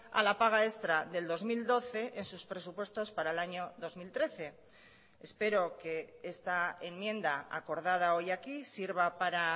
a la paga extra del dos mil doce en sus presupuestos para el año dos mil trece espero que esta enmienda acordada hoy aquí sirva para